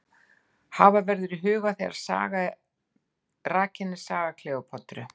Hafa verður það í huga þegar rakin er saga Kleópötru.